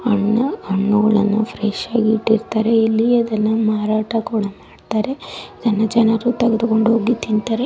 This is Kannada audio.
ಹಣ್ಣು ಹಣ್ಣುಗಳನ್ನು ಫ್ರೇಶ್ ಹಾಗಿ ಇಟ್ಟಿರುತಾರೆ ಇಲ್ಲಿ ಅದೆಲ್ಲ ಮಾರಾಟ ಕೂಡ ಮಾಡುತರೆ ಇದನ್ನು ಜನರು ತೆಗೆದುಕೊಂಡು ಹೋಗಿ ತಿಂತರೆ.